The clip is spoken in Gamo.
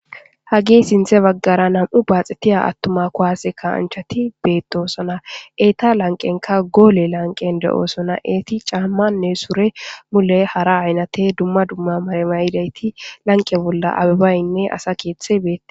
Hagi sinthe baggara nam'u baaxetiya attuma kuwaase ka anchati beettosona eeta lanqenka goole lanqen de'oosona eeti caammanne sure mule hara aynate dumma dumma maremayidayti lanqe bolla abibaynne asa keeththe beette